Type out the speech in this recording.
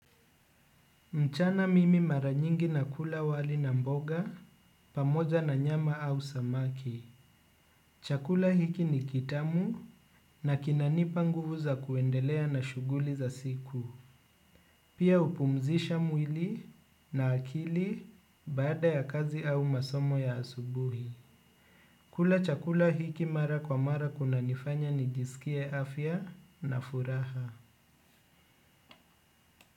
Mchana mimi mara nyingi nakula wali na mboga pamoja na nyama au samaki. Chakula hiki ni kitamu na kinanipa nguvu za kuendelea na shughuli za siku. Pia hupumzisha mwili na akili baada ya kazi au masomo ya asubuhi. Kula chakula hiki mara kwa mara kunanifanya nijisikie afya na furaha.